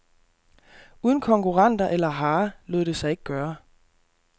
Uden konkurrenter eller hare lod det sig ikke gøre.